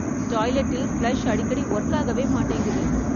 டாய்லெட்டில் flush அடிக்கடி work ஆகவே மாட்டேங்குது.